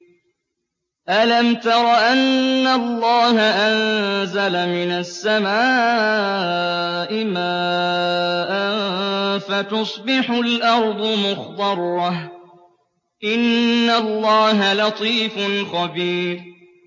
أَلَمْ تَرَ أَنَّ اللَّهَ أَنزَلَ مِنَ السَّمَاءِ مَاءً فَتُصْبِحُ الْأَرْضُ مُخْضَرَّةً ۗ إِنَّ اللَّهَ لَطِيفٌ خَبِيرٌ